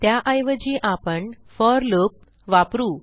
त्याऐवजी आपण for loop वापरू